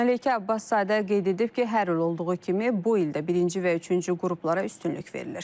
Məleykə Abbaszadə qeyd edib ki, hər il olduğu kimi bu il də birinci və üçüncü qruplara üstünlük verilir.